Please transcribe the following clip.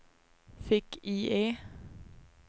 fick-IE